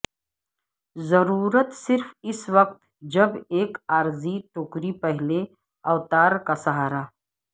ضرورت صرف اس وقت جب ایک عارضی ٹوکری پہلے اوتار کا سہارا